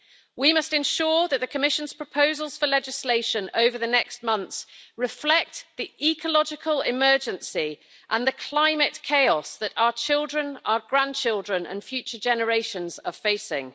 We must ensure that the Commission's proposals for legislation over the next months reflect the ecological emergency and the climate chaos that our children, our grandchildren and future generations are facing.